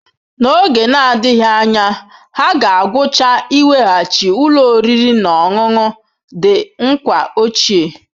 N'oge na-adịghị anya, ha ga-agwụcha iweghachi ụlọ oriri na ọṅụṅụ The Nkwa ochie.